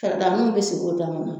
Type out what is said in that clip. Fɛrɛdaanu be sigi o dama na